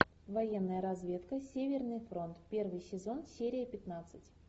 военная разведка северный фронт первый сезон серия пятнадцать